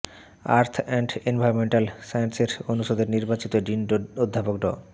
earth and environmental sciences অনুষদের নির্বাচিত dean অধ্যাপক ড